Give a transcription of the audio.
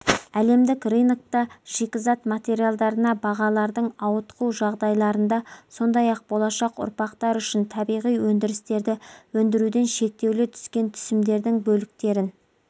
әлемдік рынокта шикізат материалдарына бағалардың ауытқу жағдайларында сондай-ақ болашақ ұрпақтар үшін табиғи өндірістерді өндіруден шектеулі түскен түсімдердің бөліктерін